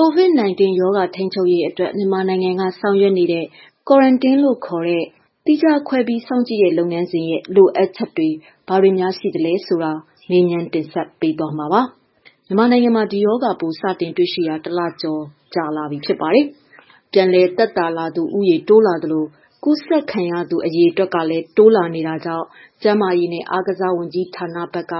COVID-19 ရောဂါထိန်းချုပ်ရေးအတွက် မြန်မာနိုင်ငံကဆောင်ရွက်နေတဲ့ Quarantine ခေါ်တဲ့ သီးခြားခွဲစောင့်ကြည့်မှု လုပ်ငန်းစဉ်မှာ လိုအပ်ချက်တွေနဲ့ပတ်သက်လို့ ဗွီအိုအေ သတင်းထောက် မေခက မေးမြန်းတင်ဆက်ထားပါတယ်။ မြန်မာနိုင်ငံမှာ ဒီရောဂါပိုးစတင်တွေ့ရှိတာ တလကျော်လာပါပြီ။ ပြန်လည်သက်သာလာသူ တိုးလာသလို ကူးစက်ခံရသူ အရေအတွက်လည်းတိုးလာနေတာကြောင့် ကျန်းမာရေးနဲ့ အားကစား ဝန်ကြီးဌာနဘက်က